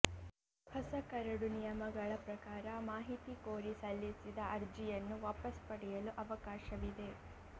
ಹೊಸ ಕರಡು ನಿಯಮಗಳ ಪ್ರಕಾರ ಮಾಹಿತಿ ಕೋರಿ ಸಲ್ಲಿಸಿದ ಅರ್ಜಿಯನ್ನು ವಾಪಸ್ ಪಡೆಯಲು ಅವಕಾಶವಿದೆ